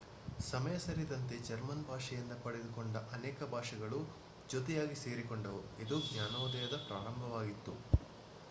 ಸಮಯ ಸರಿದಂತೆ ಜರ್ಮನ್ ಭಾಷೆಯಿಂದ ಪಡೆದುಕೊಂಡ ಅನೇಕ ಪದಗಳು ಜೊತೆಯಾಗಿ ಸೇರಿಕೊಂಡವು ಇದು ಜ್ಞಾನೋದಯದ ಪ್ರಾರಂಭವಾಗಿತ್ತು